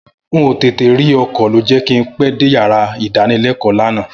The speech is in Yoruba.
N ò tètè rí ọkọ̀ ló jẹ́ kí n pẹ́ dé yàrá ìdánilẹ́kọ̀ọ́ lánàá